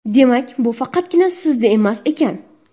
Demak, bu faqatgina sizda emas ekan.